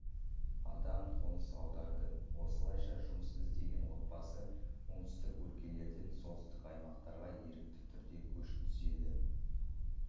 адам қоныс аударды осылайша жұмыс іздеген отбасы оңтүстік өлкелерден солтүстік аймақтарға ерікті түрде көш түзеді